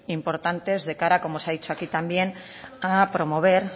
importantes de cara como se ha dicho aquí también a promover